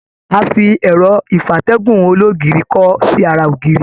A fi ẹrọ ìfatẹ̀gún ologiri kọ sí àrà ògiri.